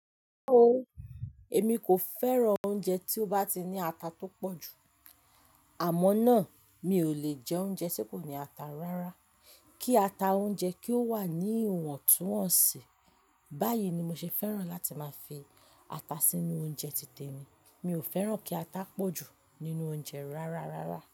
Rárá o, èmi kò fẹ́ran oúnjẹ tí ó bá ti ní ata tó pọ̀ jù. Àmọ́ náà, mi ò lè jẹ oúnjẹ tí kò ní ata rárá. Kí ata oúnjẹ kí ó wà ní ìwọ̀ntúnwọ̀nsì, báyìí ni mo ṣe fẹ́ran láti máa fi ata sínú oúnjẹ ti tèmi. Mi ò fẹ́ran kí ata pọ̀ jù nínú oúnjẹ rárá rárá.